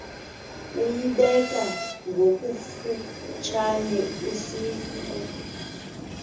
uyibeke ngokufutshane usonti